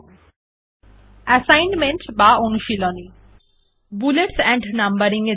comprehensive assignment bullet এবং number দিন